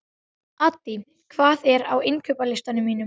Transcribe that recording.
Addý, hvað er á innkaupalistanum mínum?